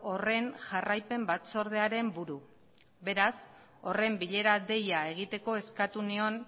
horren jarraipen batzordearen buru beraz horren bilera deia egiteko eskatu nion